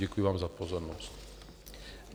Děkuji vám za pozornost.